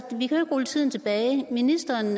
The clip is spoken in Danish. ikke rulle tiden tilbage ministeren